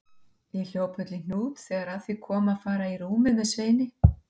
Ég hljóp öll í hnút þegar að því kom að fara í rúmið með Sveini.